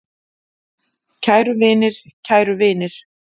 Kæru vinir, kæru vinir.